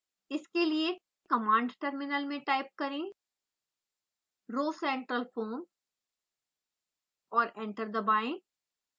इसके लिए command terminal में टाइप करें rhocentralfoam और एंटर दबाएं